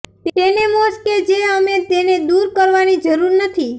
ટેનેમોસ કે જે અમે તેને દૂર કરવાની જરૂર નથી